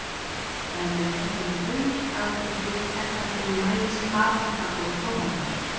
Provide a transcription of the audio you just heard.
Dæmi um þetta eru baunir, agúrkur, eggaldin, maís, paprika og tómatar.